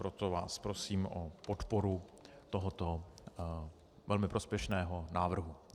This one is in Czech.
Proto vás prosím o podporu tohoto velmi prospěšného návrhu.